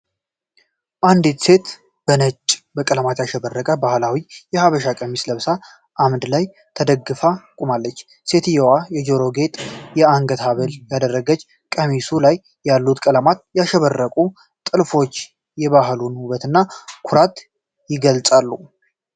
አንዲት ሴት በነጭና በቀለማት ያሸበረቀ ባህላዊ የሐበሻ ቀሚስ ለብሳ አምድ ላይ ተደግፋ ቆማለች። ሴትየዋ የጆሮ ጌጥና የአንገት ሐብል ያደረገች፣ ቀሚሱ ላይ ያሉት በቀለማት ያሸበረቁት ጥልፎች የባህሉን ውበትና ኩራት ይገልጻሉ።